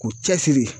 K'u cɛsiri